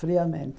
Friamente.